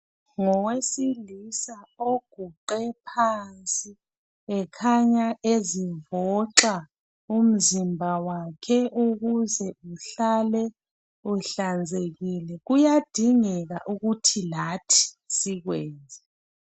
Ngowesilisa oguqe phansi ekhanya ezivoxa umzimba wakhe ukuze uhlale uhlanzekile, kuyadingeka ukuthi lathi sikwenze.